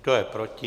Kdo je proti?